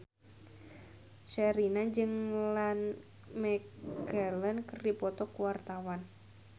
Sherina jeung Ian McKellen keur dipoto ku wartawan